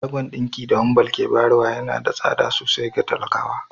Shagon dinki da Wambal ke bayarwa yana da tsada sosai ga talakawa